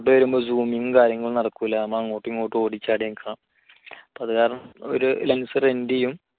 photo വരുമ്പോൾ zoom ങ്ങും കാര്യങ്ങളും ഒന്നും നടക്കുല്ല അങ്ങോട്ടുമിങ്ങോട്ടും ഓടിച്ചാടി നിൽക്കുക അതുകാരണം ഒരു lense rent ചെയ്യും.